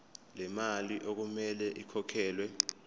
lemali okumele ikhokhelwe